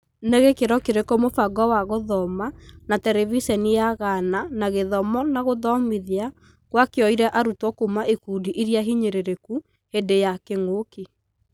Na gĩkĩro kĩrĩkũ mũbango wa gũthoma na Terebiceniya Gana na gĩthomo na gũthomithia, gũakinyĩore arutwo kuuma ikundi iria hinyĩrĩrĩku hĩndĩ wa kĩng'ũki?